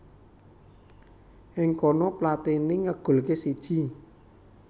Ing kono Platini ngegolké siji